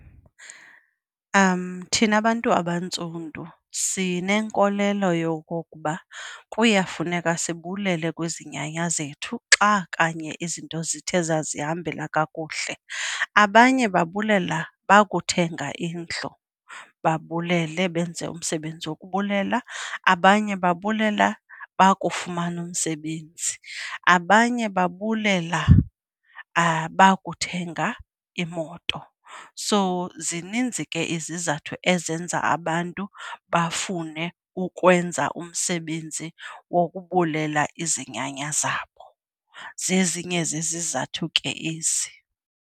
Thina bantu abantsundu sinenkolelo yokokuba kuyafuneka sibulele kwizinyanya zethu xa kanye izinto zithe zazihambela kakuhle. Abanye babulela bakuthenga indlu, babulele benze umsebenzi wokubulela. Abanye babulela bakufumana umsebenzi, abanye babulela bakuthenga imoto. So zininzi ke izizathu ezenza abantu bafune ukwenza umsebenzi wokubulela, izinyanya zabo zezinye zezizathu ke ezi.